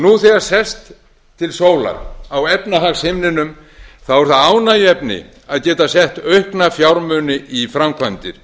nú þegar sést til sólar á efnahagshimninum er það ánægjuefni að bera gott aukna fjármuni í framkvæmdir